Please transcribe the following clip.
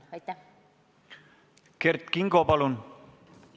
Kert Kingo, palun!